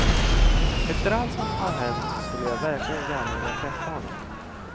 Efter allt som har hänt så skulle jag verkligen gärna vilja träffa honom.